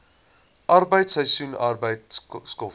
arbeid seisoensarbeid skoffel